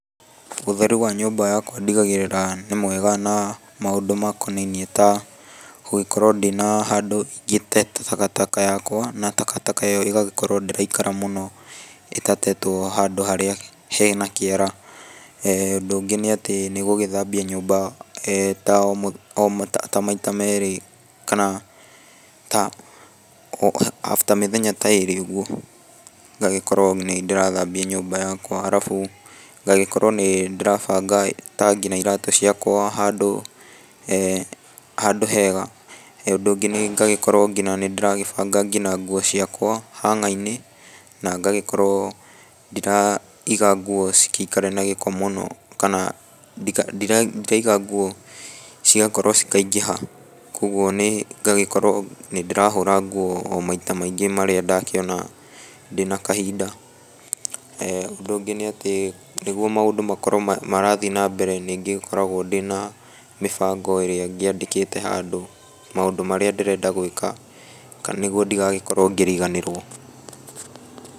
Ũtheru wa nyũmba yakwa ndigagĩarĩra nĩ mwega na maũndũ makonainie ta, gũgĩkorwo ndina handũ ingĩte takataka yakwa, na takataka ĩyo ĩgagĩkorwo ndĩraikara mũno, ĩtatetwo handũ harĩa he nakĩara, eeh ũndũ ũngĩ nĩ atĩ nĩ gũgĩthambia nyũmba eeh ta o mũthe ta maita merĩ kana ta o after mĩthenya ta ĩrĩ ũguo, ngagĩkorwo nĩ ndĩragĩthambia nyũmba yakwa, arabu ngagĩkorwo nĩ ndĩrabanga ta nginya iratũ ciakwa handũ, eeh handũ hega, ũndũ ũngĩ nĩ ngagĩkorwo ngina nĩ ndĩragĩbanga ngina nguo ciakwa hanga-inĩ na ngagĩkorwo ndiraiga nguo cingĩikara na gĩko mũno, kana ndika ndiraiga nguo cigakorwo cikaingĩha, koguo nĩ ngagĩkorwo nĩ ndĩrahũra nguo o maita maingĩ marĩa ndakĩona ndĩnakahinda, eeh ũndũ ũngĩ nĩ atĩ, nĩguo maũndũ makorwo marathiĩ na mbere nĩ ngĩkoragwo ndĩna mĩbango ĩrĩa ngĩandĩkĩte handũ, maũndũ marĩa ndĩrenda gwĩka, nĩguo ndigagĩkorwo ngĩriganĩrwo.